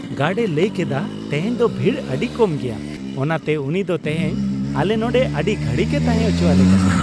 Guard ᱮ ᱞᱟᱹᱭᱠᱮᱫᱟ, ᱛᱮᱦᱮᱧ ᱫᱚ ᱵᱷᱤᱲ ᱟᱹᱰᱤ ᱠᱚᱢ ᱜᱮᱭᱟ ᱾ ᱚᱱᱟᱛᱮ ᱩᱱᱤ ᱫᱚ ᱛᱮᱦᱮᱧ ᱟᱞᱮ ᱱᱚᱸᱰᱮ ᱟᱹᱰᱤ ᱜᱷᱟᱹᱲᱤᱡ ᱮ ᱛᱟᱦᱮᱸ ᱚᱪᱚ ᱟᱞᱮ ᱠᱟᱱᱟ ᱾